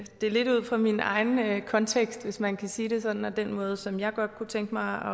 stille det ud fra min egen kontekst hvis man kan sige det sådan altså den måde som jeg godt kunne tænke mig